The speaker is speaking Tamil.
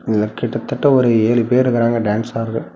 இதுல கிட்டதட்ட ஒரு ஏழு பேர் இருகுறாங்க டேன்ஸ் ஆடுற.